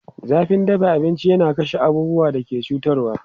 Zafin dafa abinci yana kashe abubuwan da ke cutarwa.